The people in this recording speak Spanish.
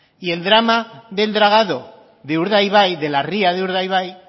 y el drama del dragado de urdaibai de la ría de urdaibai